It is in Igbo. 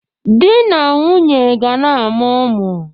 Di na nwunye ga na-amụ ụmụ